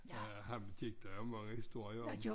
Ja ham gik der mange historier om